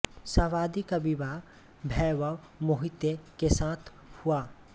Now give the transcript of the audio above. शाहाबादी का विवाह वैभव मोहिते के साथ हुआ